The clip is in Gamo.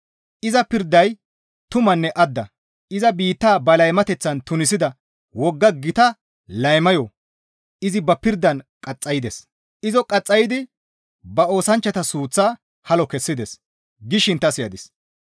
Iza pirday tumanne adda; iza biittaa ba laymateththan tunisida wogga gita laymayo izi ba pirdan qaxxaydes; izo qaxxaydi ba oosanchchata suuththaa halo kessides» gishin ta siyadis.